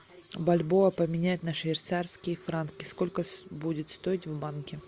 бальбоа поменять на швейцарские франки сколько будет стоить в банке